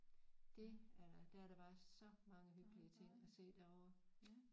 Det er der der er bare så mange hyggelige ting at se derovre